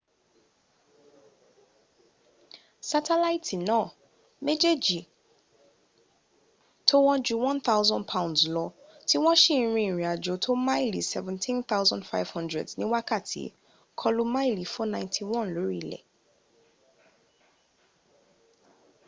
sátẹ̀láìtì náà méjèjì tó wọ́n ju 1000 pounds lọ, tí wọ́n s;i rin ìrìn àjò tó tó máàlì 17,500 ní wákàtí, kọlu máàlì 491 lórí ilẹ̀